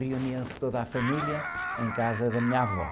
Reunia-se toda a família em casa da minha avó.